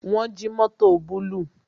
Wọn jí mótò búlúù